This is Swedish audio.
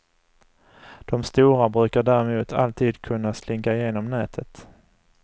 De stora brukar däremot alltid kunna slinka igenom nätet.